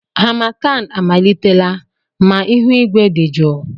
Harmattan amalitela ma ihu igwe dị jụụ.